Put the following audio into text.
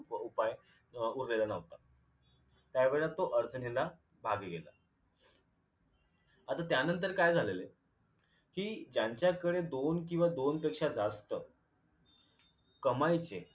उपाय उरलेला न्हवता त्यावेळेला तो आता त्यानंतर काय झालेले कि ज्यांच्याकडे दोन किंवा दोन पेक्षा जास्त कमाईचे